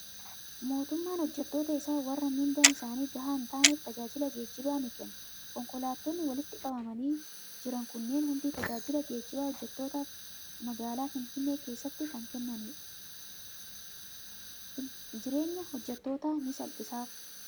Mootummaan hojjettoota isaa warra miindaan isaanii gahaa hin taaneef tajaajila geejjibaa ni kenna. Konkolaattonni walitti qabamanii jiran kunneen hundi tajaajila geejjibaa hojjettootaaf magaalaa Finfinnee keessatti kan kennanidha. Jireenya hojjettootaa ni salphisaaf.